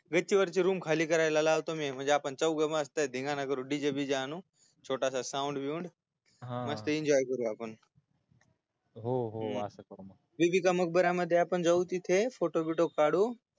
गच्चीवरची room खाली करायला लावतो मी म्हणजी आपण चौघ मस्त धिंगांना करू dj बीजे आणू छोटास sound बिऊंड हा मस्त enjoy करुया आपण हो हो अस करु आपण बीबी का मकरबरा मध्ये आपण जाऊ तिथे photo बिटो काढू